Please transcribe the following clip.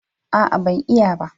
A'a, ban iya ba.